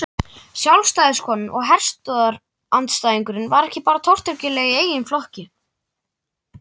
Sjálfstæðiskonan og herstöðvaandstæðingurinn var ekki bara tortryggileg í eigin flokki.